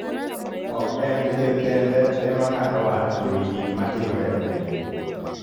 Ok en ker kende ema ng'ado wach ewi gik matimre e piny.